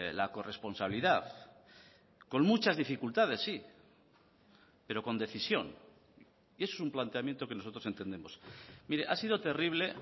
la corresponsabilidad con muchas dificultades sí pero con decisión es un planteamiento que nosotros entendemos mire ha sido terrible